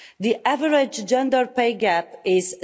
The average gender pay gap is